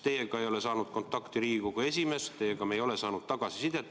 Teiega ei ole saanud kontakti Riigikogu esimees, me ei ole saanud teilt tagasisidet.